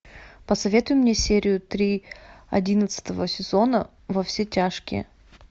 посоветуй мне серию три одиннадцатого сезона во все тяжкие